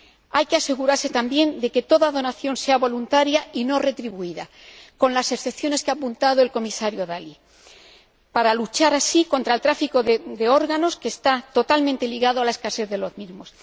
Hay que asegurarse también de que toda donación sea voluntaria y no retribuida, con las excepciones que ha apuntado el Comisario Dalli, para luchar así contra el tráfico de órganos, que está totalmente ligado a la escasez de los mismos.